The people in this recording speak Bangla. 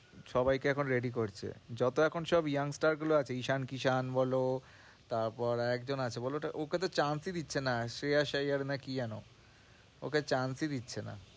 সবাইকে এখন ready করছে, যত এখন সব young star গুলো আছে ঈশান, কিশান বলো তারপর আর একজন আছে বলো ওটা, ওকে তো chance ই দিচ্ছে না, CSIR না কি যেন ওকে chance ই দিচ্ছে না।